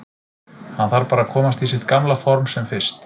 Hann þarf bara að komast í sitt gamla for sem fyrst.